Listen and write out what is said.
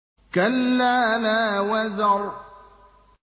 كَلَّا لَا وَزَرَ